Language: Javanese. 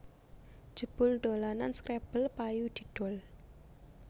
Jebul dolanan scrabble payu didol